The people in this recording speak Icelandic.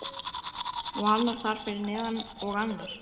Og annar þar fyrir neðan. og annar.